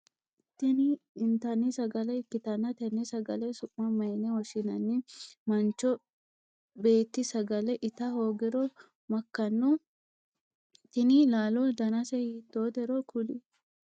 Tinni intanni sagale ikitanna tenne sagale su'ma mayinne woshinnanni? Mancho beeti sagale ita hoogiro makano? Tinni laalo dannase hiitootero kuli